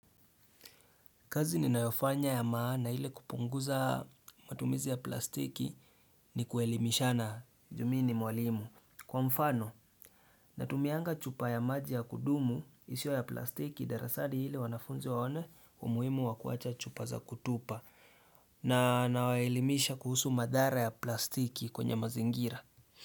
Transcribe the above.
Kazi ni nayofanya ya maana ile kupunguza matumizi ya plastiki ni kuelimishana juu mi ni mwalimu. Kwa mfano, natumianga chupa ya maji ya kudumu isio ya plastiki darasani ili wanafunzi waone umuhimu wakuacha chupa za kutupa. Na nawaelimisha kuhusu madhara ya plastiki kwenye mazingira.